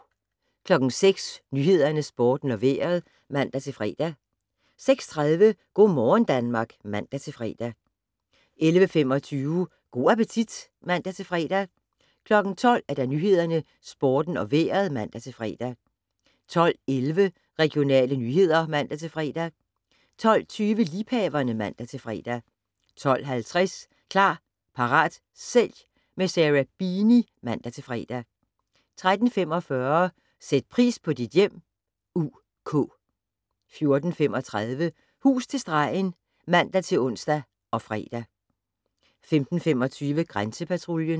06:00: Nyhederne, Sporten og Vejret (man-fre) 06:30: Go' morgen Danmark (man-fre) 11:25: Go' appetit (man-fre) 12:00: Nyhederne, Sporten og Vejret (man-fre) 12:11: Regionale nyheder (man-fre) 12:20: Liebhaverne (man-fre) 12:50: Klar, parat, sælg - med Sarah Beeny (man-fre) 13:45: Sæt pris på dit hjem (UK) 14:35: Hus til stregen (man-ons og fre) 15:25: Grænsepatruljen